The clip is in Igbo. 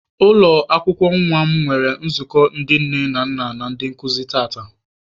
Ụlọ akwụkwọ nwa m nwere nzukọ ndị nne na nna na ndị nkụzi tata.